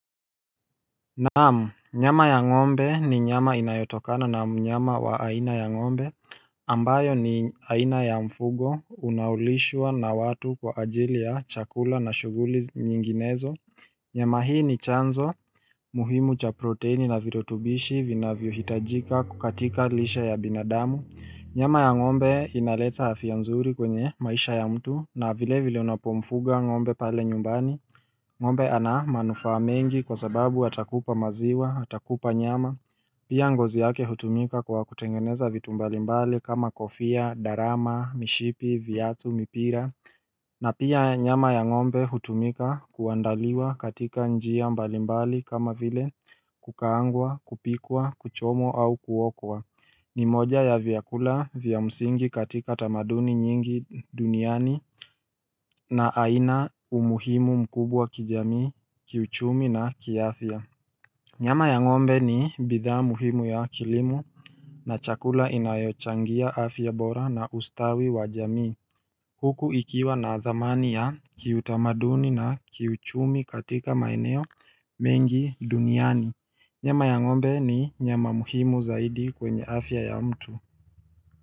Naam nyama ya ng`ombe ni nyama inayotokana na mnyama wa aina ya ng`ombe ambayo ni aina ya mfugo unaolishwa na watu kwa ajili ya chakula na shughuli nyinginezo nyama hii ni chanzo muhimu cha proteini na virutubishi vinavyo hitajika kukatika lishe ya binadamu nyama ya ng`ombe inaleza af ya nzuri kwenye maisha ya mtu na vile vile unapo mfuga ng`ombe pale nyumbani Ng`ombe ana manufa mengi kwa sababu atakupa maziwa, atakupa nyama, pia ngozi yake hutumika kwa kutengeneza vitu mbalimbali kama kofia, darama, mishipi, vyatu, mipira na pia nyama ya ng`ombe hutumika kuandaliwa katika njia mbalimbali kama vile kukaangwa, kupikwa, kuchomwa au kuokwa ni moja ya vyakula vya msingi katika tamaduni nyingi duniani na aina umuhimu mkubwa kijamii, kiuchumi na kiafia. Nyama ya ng`ombe ni bidhaa muhimu ya kilimo na chakula inayochangia afya bora na ustawi wa jamii. Huku ikiwa na dhamani ya kiutamaduni na kiuchumi katika maeneo mengi duniani. Nyama ya ng`ombe ni nyama muhimu zaidi kwenye afya ya mtu.